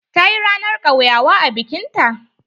Ta yi ranan kauyawa a bikin ta.